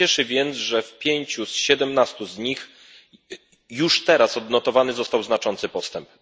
Cieszy więc, że w pięciu z siedemnastu z nich już teraz odnotowany został znaczący postęp.